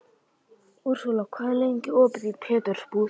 Úrsúla, hvað er lengi opið í Pétursbúð?